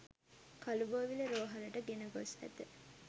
කළුබෝවිල රෝහලට ගෙන ගොස් ඇත